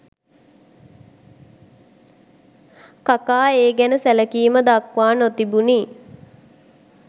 කකා ඒ ගැන සැලකීම දක්වා නොතිබුණි